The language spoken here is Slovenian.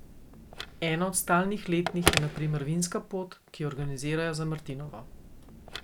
Ena od stalnih letnih je na primer vinska pot, ki jo organizirajo za martinovo.